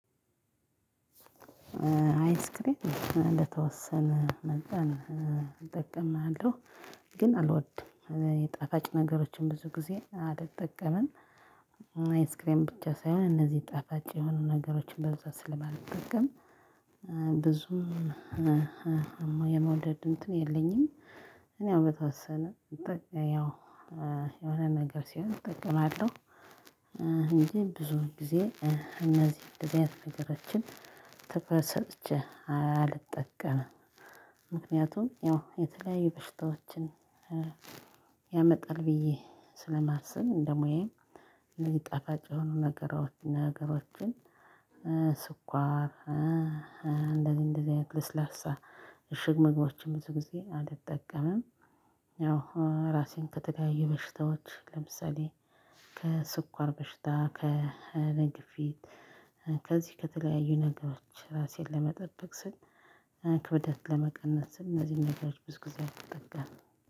አይስክሪም ለተወሰነ መጠን እጠቀማለሁ። ግን አልወድም የጣፋጭ ነገሮችን ብዙ ጊዜ አልጠቀምም። አይስክሬም ብቻ ሳይሆን እነዚህ ጣፋጭ የሆኑ ነገሮችን በብዛት ስለማልጠቀም። ብዙም የመውደድ እንትን የለኝም። ያው በተወሰነ ያው የሆነ ነገር ሲሆን እጠቀማለሁ። እንጂ ብዙውን ጊዜ እነዚህ እንደዚህ አይነት ነገሮችን ትኩረት ሰጭቼ አልጠቀምም። ምክንያቱም ያው የተለያዩ በሽታዎችን ያመጣል ብዬ ስለማስብ እንደሙያዬ እኒጣፋጭ የሆኑ ነገሮችን። ስኳር እንደዚህ እንደዚህ አይነት ለስላሳ እሽግ ምግቦችን ብዙ ጊዜ አልጠቀምም። ያው ራሴን ከተለያየ በሽታዎች ለምሳሌ ከስኳር በሽታ ከግፊት ከዚህ ከተለያዩ ነገሮች ራሴን ለመጠበቅ ስል። ክብደት ለመቀነስ ስል እነዚህን ነገሮች ብዙ ጊዜ አልጠጋም።